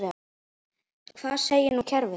Hvað segir nú kerfið?